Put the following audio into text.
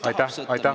Aitäh!